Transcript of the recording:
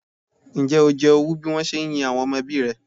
Ǹjẹ́ o jẹ owú bí wọ́n se ń yin àwọn ọmọ ẹbí rẹ?